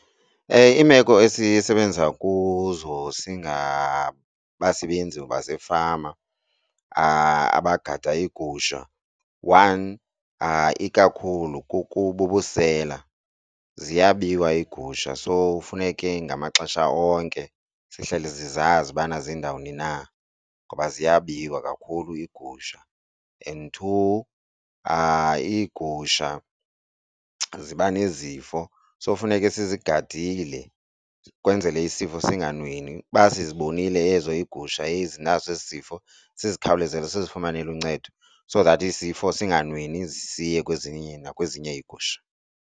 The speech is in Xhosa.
Iimeko esisebenza kuzo singabasebenzi basefama abagada iigusha one ikakhulu bubusela, ziyabiwa iigusha. So funeke ngamaxesha onke zihlale zizazi ubana ziindawuni na ngoba ziyabiwa kakhulu iigusha, and two iigusha ziba nezifo. So funeke sizigadile ukwenzele isifo singanweni. Uba sizibonile ezo iigusha ezinaso esi sifo sizikhawulezele sizifumanele uncedo so that isifo singanweni siye kwezinye nakwezinye iigusha.